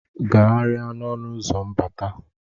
Gagharịa n'ọnụ ụzọ mbata!